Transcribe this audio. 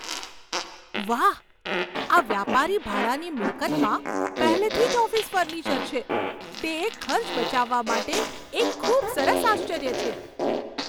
વાહ! આ વ્યાપારી ભાડાની મિલકતમાં પહેલેથી જ ઓફિસ ફર્નિચર છે તે એક ખર્ચ બચાવવા માટે એક ખૂબ સરસ આશ્ચર્ય છે.